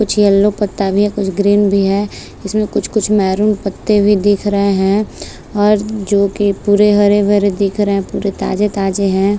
कुछ येलो पत्ता भी है कुछ ग्रीन भी है इसमें कुछ कुछ मैरून पत्ते भी दिख रहे है और जो की पुरे हरे भरे दिख रहे है पुरे ताजे ताजे है।